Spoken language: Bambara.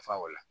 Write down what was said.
Fa o la